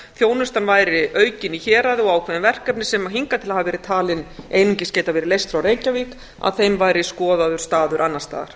þjónustan væri aukin í héraði og í ákveðnu verkefni sem hingað til hafa verið leyst frá reykjavík að þeim væri skoðaður staður annars staðar